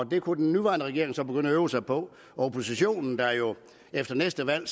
det kunne den nuværende regering så begynde at øve sig på og oppositionen der jo efter næste valg